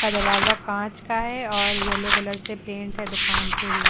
दरवाजा कांच का है और येलो कलर से पेंट है दुकान पुरी।